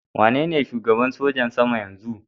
Waye ne shugaban sojin sama yanzun?